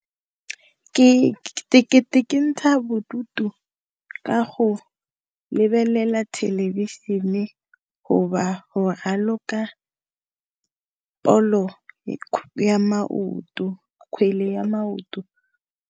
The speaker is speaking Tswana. Ke kentsha bodutu ka go lebelela thelebišene, go ba go raloka ball-o ya maoto, kgwele ya maoto.